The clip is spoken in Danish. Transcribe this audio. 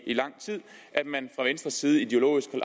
i lang tid at man fra venstres side ideologisk